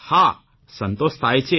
હા સંતોષ થાય છે